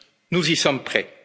en relation. Nous